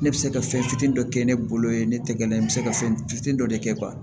Ne bɛ se ka fɛn fitinin dɔ kɛ ne bolo ye ne tɛgɛ dɛ n bɛ se ka fɛn fitinin dɔ de kɛ ban